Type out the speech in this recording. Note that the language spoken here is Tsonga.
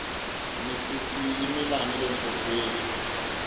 misisi yi mila nile nhlokweni